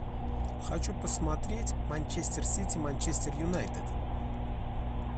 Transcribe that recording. хочу посмотреть манчестер сити манчестер юнайтед